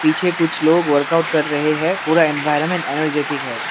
पीछे कुछ लोग वर्कआउट कर रहे हैं पूरा एनवायरमेंट एनर्जेटिक है।